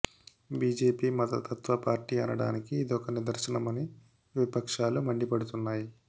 BJP మతతత్వ party అనడానికి ఇదొక నిదర్శనం అని విపక్షాలు మండిపడుతున్నాయి